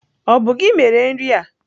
Ọ bụ gị mere nri a?